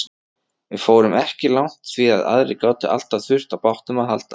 Við fórum ekki langt því að aðrir gátu alltaf þurft á bátnum að halda.